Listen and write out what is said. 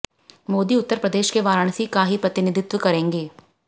मोदी उत्तर प्रदेश के वाराणसी का ही प्रतिनिधित्व करेंगे